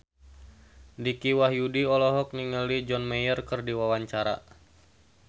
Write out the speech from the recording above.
Dicky Wahyudi olohok ningali John Mayer keur diwawancara